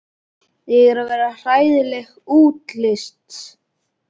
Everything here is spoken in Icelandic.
Ég er að verða hræðileg útlits.